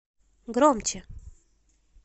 громче